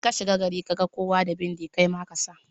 In kashiga gari kaga kowa da bindi kaima kasa.